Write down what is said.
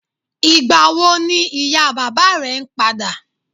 Ìgbà wo ni ìyá bàbá rẹ̀ ń padà?